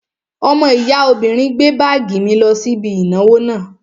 Ọmọ ìyá obìnrin gbé báàgì mi lọ sí ibi ìnáwó náà